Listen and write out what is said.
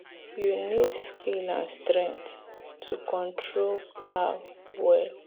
you need skill and strength to control plow well.